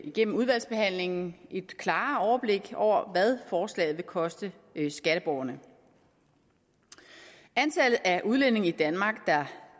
gennem udvalgsbehandlingen et klarere overblik over hvad forslaget vil koste skatteborgerne antallet af udlændinge i danmark der